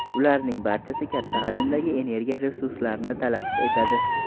Ularning barchasi katta hajmdagi energiya resurslarini talab etadi.